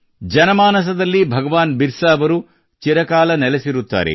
ಜನಮಾನಸದಲ್ಲಿ ಭಗವಾನ್ ಬಿರಸಾ ಅವರು ಚಿರಕಾಲ ನೆಲೆಸಿರುತ್ತಾರೆ